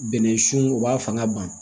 Bɛnɛ sun u b'a fanga ban